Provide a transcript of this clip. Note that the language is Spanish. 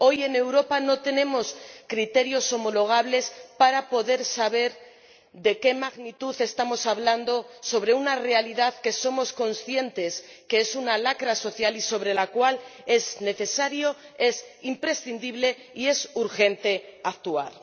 Hoy en Europa no tenemos criterios homologables para poder saber de qué magnitud estamos hablando al referirnos a una realidad que sabemos que es una lacra social y sobre la cual es necesario, es imprescindible y es urgente actuar.